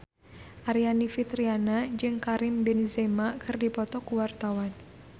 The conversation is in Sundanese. Aryani Fitriana jeung Karim Benzema keur dipoto ku wartawan